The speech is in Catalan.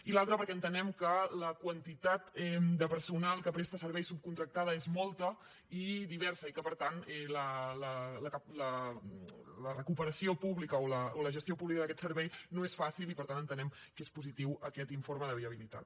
i l’altra perquè entenem que la quantitat de personal que presta servei subcontractada és molta i diversa i que per tant la recuperació pública o la gestió pública d’aquest servei no és fàcil i per tant entenem que és positiu aquest informe de viabilitat